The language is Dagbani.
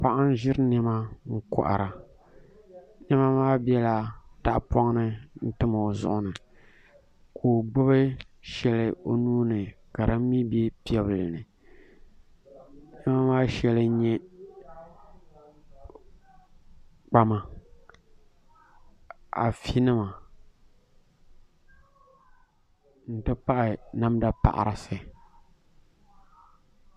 Paɣa n ʒiri niɛma n kohara niɛma maa biɛla tahapoŋ ni n tam o zuɣuni ka o gbubi shɛli o nuuni ka din mii bɛ piɛbili ni niɛma maa shɛli n nyɛ kpama afi nima n ti pahi namda paɣarisi